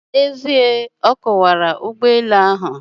N'ezie, ọ kọwara ụgbọelu ahụ.